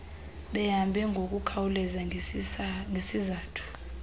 behambe ngokukhawuleza ngesizathu